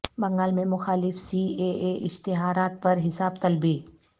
بنگال میں مخالف C A A اشتہارات پر حساب طلبی